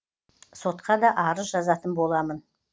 сотқа да арыз жазатын боламын